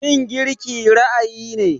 Yin girki ra'ayi ne.